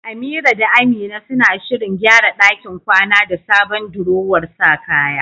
Amira da Amina suna shirin gyara ɗakin kwana da sabon durowar sa kaya.